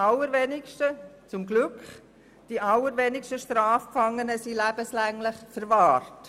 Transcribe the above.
Glücklicherweise bleiben nur die allerwenigsten Strafgefangenen lebenslänglich verwahrt.